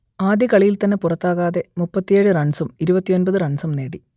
ആദ്യ കളിയിൽ തന്നെ പുറത്താകാതെ മുപ്പത്തിയേഴ് റൺസും ഇരുപത്തിയൊമ്പത് റൺസും നേടി